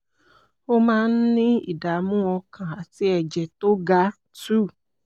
ó máa ń ní ìdààmú ọkàn àti ẹ̀jẹ̀ tó ga two